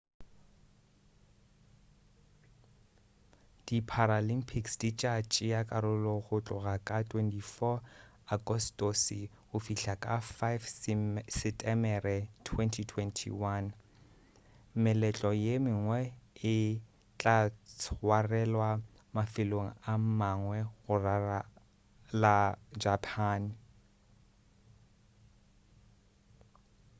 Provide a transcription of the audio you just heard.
di paralympics di tša tšea karolo go tloga ka 24 agostose go fihla ka 5 setemere 2021 meletlo ye mengwe e tla tswarelwa mafelong a mangwe go ralala japan